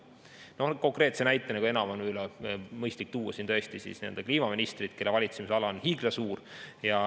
Konkreetse teemana on mõistlik siin näiteks tuua tõesti kliimaminister, kelle valitsemisala on hiiglasuur.